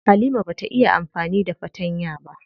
Halima bata iya amfani da fatanya ba.